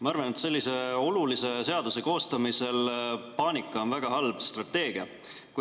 Ma arvan, et sellise olulise seaduse koostamisel on paanika väga halb strateegia.